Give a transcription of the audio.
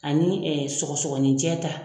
Ani sɔgɔsɔgɔninjɛ ta